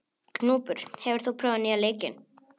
Gnúpur, hefur þú prófað nýja leikinn?